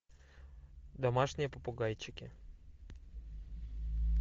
домашние попугайчики